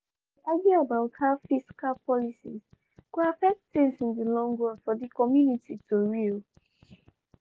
dem dey argue about how fiscal policies go affect things in di long run for di community tori.